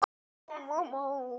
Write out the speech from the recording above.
Þetta eru ekki litlar kröfur.